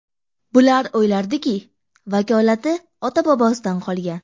Bular o‘ylardiki, vakolati ota-bobosidan qolgan.